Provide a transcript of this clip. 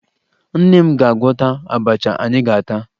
Nne m ga-agwọta abacha anyị ga-ata